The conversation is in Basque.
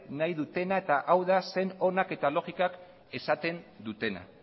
nahi dutena eta hau da sen onak eta logikak esaten dutena